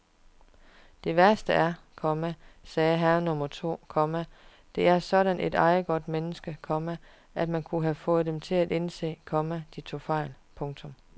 Det værste er, komma sagde herre nummer to, komma der er sådan et ejegodt menneske, komma at man kunne have fået dem til at indse, komma de tog fejl. punktum